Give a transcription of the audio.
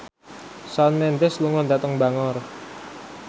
Shawn Mendes lunga dhateng Bangor